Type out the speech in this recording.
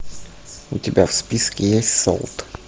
у тебя в списке есть солт